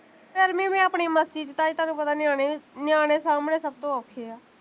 ਮੈਂ ਆਪਣੀ ਮਸਤੀ ਚ, ਤਾਈ ਤੁਹਾਨੂੰ ਪਤਾ ਨਿਆਣੇ, ਨਿਆਣੇ ਸਾਂਬਣੇ ਸਭ ਤੋਂ ਔਖੇ ਆ